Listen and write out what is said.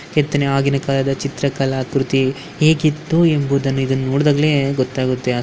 ಕೆತ್ತನೆ ಆಗಿನ ಕಾಲದ ಚಿತ್ರ ಕೃತಿ ಹೇಗಿತ್ತು ಎಂಬುದನ್ನು ಇದನ್ನು ನೋಡಿದಾಗಲೇ ಗೊತ್ತಾಗುತ್ತೆ.